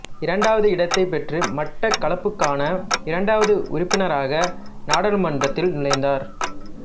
இரண்டாவது இடத்தைப் பெற்று மட்டக்களப்புக்கான இரண்டாவது உறுப்பினராக நாடாளுமன்றத்தில் நுழைந்தார்